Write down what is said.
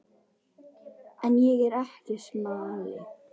En ég er ekki smali.